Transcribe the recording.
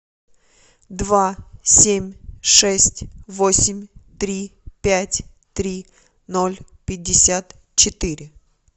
два семь шесть восемь три пять три ноль пятьдесят четыре